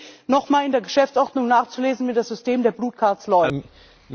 Ich bitte Sie, nochmal in der Geschäftsordnung nachzulesen, wie das System der funktioniert.